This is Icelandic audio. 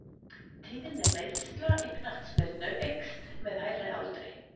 Tíðni meiðsla í knattspyrnu eykst með hærri aldri.